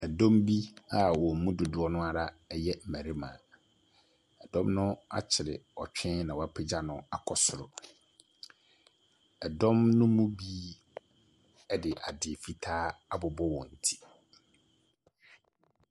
Dɔm bi a wɔn mu dodoɔ no ara yɛ mmarima. Dɔm no akyere ɔtwe na wɔapegya no akɔ soro. Ɛdɔm no mu bi de ade fitaa abobɔ wɔn ti.